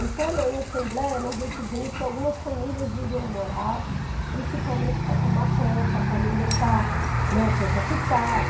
Então, na em assembleia, nós decidimos que algumas famílias viriam morar, principalmente para tomar conta, para não deixar, né, o povo ocupar.